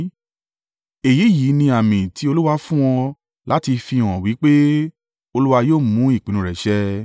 “ ‘Èyí yìí ni àmì tí Olúwa fún ọ láti fihàn wí pé Olúwa yóò mú ìpinnu rẹ̀ ṣẹ.